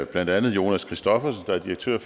blandt andet jonas christoffersen der er direktør